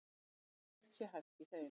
Ekkert sé hæft í þeim